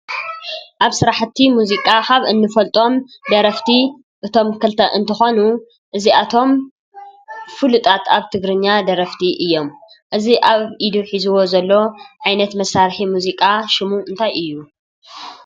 ኣብ ስራሕቲ ሙዚቃ ካብ እንፈልጦም ደረፍቲ እቶም ክልተ እንትኾኑ እዚኣቶም ፍሉጣት ኣብ ትግርኛ ደረፍቲ እዮም። እዚ ኣብ ኢዱ ሒዝዋ ዘሎ ዓይነት መሳርሒ ሙዚቃ ሽሙ እንታይ እዩ?